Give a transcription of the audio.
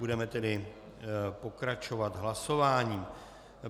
Budeme tedy pokračovat hlasováním.